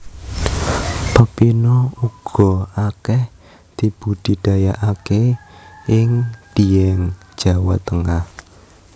Pepino uga akeh dibudidayaake ing Dieng Jawa Tengah